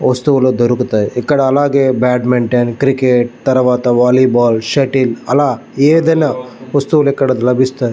వస్తువుల్లు దొరుకుతాయి. ఇక్కడ అలాగే బద్మిన్తిఒన్ క్రికెట్ తరువాత వాలీ బాల్ షుత్త్లె అల ఎదిన వస్తువుల్లు అక్కడ లబిస్తై--